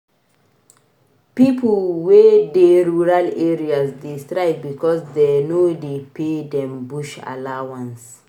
Pipo wey dey rural areas dey strike because dey no dey pay dem bush allowance.